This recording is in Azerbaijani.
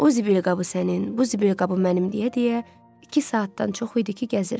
O zibil qabı sənin, bu zibil qabı mənim deyə-deyə iki saatdan çox idi ki, gəzirdi.